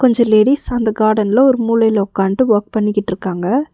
அஞ்சி லேடிஸ் அந்த கார்டன்ல ஒரு மூலைல ஒக்காண்டு வொர்க் பண்ணிகிட்றுக்காங்க.